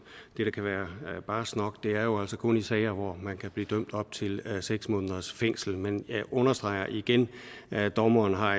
det da kan være barskt nok er det jo altså kun i sager hvor man kan blive dømt op til seks måneders fængsel men jeg understreger igen at dommeren har